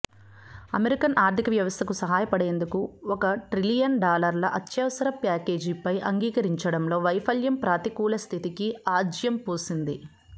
American ఆర్థిక వ్యవస్థకు సహాయపడేందుకు ఒక ట్రిలియన్ డాలర్ల అత్యవసర ప్యాకేజీపై అంగీకరించడంలో వైఫల్యం ప్రతికూల స్థితికి ఆజ్యం పోసింది